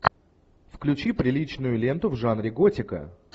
включи приличную ленту в жанре готика